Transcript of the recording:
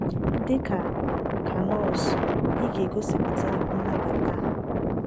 Dị ka ka nọọsụ, ị ga na - egosipụta nnabata.